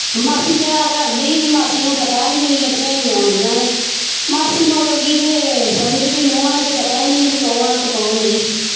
ਮਾਸੀ ਚਾਅ ਕਰਦੀ ਸੀ ਮਾਸੀ ਨੂੰ ਪਤਾ ਸੀ ਮੇਰੀਆਂ ਆਉਂਦੀਆਂ ਨੇ ਮਾਸੀ ਮੁੱਕ ਗਈ ਤੇ ਸਮਝ ਵੀ ਨਹੁੰਆਂ ਨੂੰ ਤੇ ਪਤਾ ਹੀ ਨੀ ਵੀ ਕੌਣ ਆਂ ਤੇ ਕੌਣ ਨਹੀਂ।